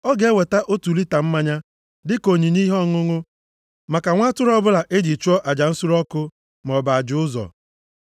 Ọ ga-eweta otu lita mmanya dịka onyinye ihe ọṅụṅụ maka nwa atụrụ ọbụla e ji chụọ aja nsure ọkụ maọbụ aja ụzọ.